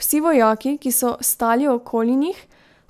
Vsi vojaki, ki so stali okoli njih,